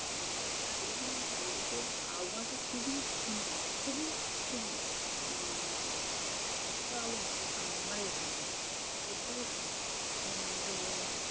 চারিদিকের আবহাওয়াটা খুবই মনোরম, খুবই সুন্দর। উম এতো সুন্দর আবহাওয়া আমাদের এখানে নেই। সত্যি খুব সুন্দর হম তো